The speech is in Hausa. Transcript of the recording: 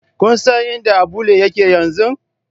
Kun san inda Abulle yake zaune?